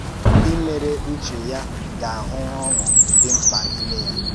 Ndị mèrè ùchè ya gà-ahụ̀ ọṅụ́ dị̀ ńkpa n’ìmè ya.